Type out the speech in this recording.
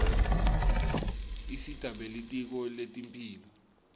isita belitiko letemphilo